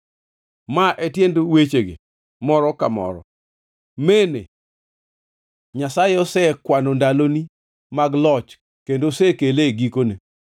“Ma e tiend wechegi, moro ka moro: “ Mene: Nyasaye osekwano ndaloni mag loch kendo osekele e gikone.